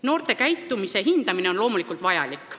Noorte käitumise hindamine on loomulikult vajalik.